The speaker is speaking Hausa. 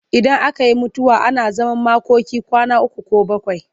Idan aka yi mutuwa ana zaman makoki kwana uku ko bakwai.